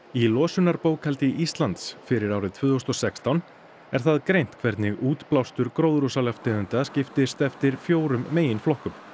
í losunarbókhaldi Íslands fyrir árið tvö þúsund og sextán er það greint hvernig útblástur gróðurhúsalofttegunda skiptist eftir fjórum meginflokkum